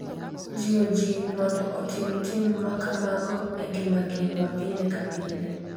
Jiwo ji mondo oting’ tim makamago e ngimagi ma pile ka pile.